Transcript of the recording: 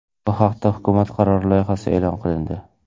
Bu haqda hukumat qarori loyihasi e’lon qilindi.